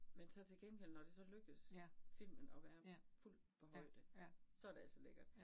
Men så til gengæld når det så lykkes filmen at være fuldt på højde. Så det altså lækkert